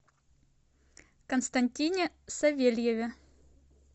константине савельеве